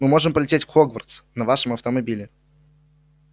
мы можем полететь в хогвартс на вашем автомобиле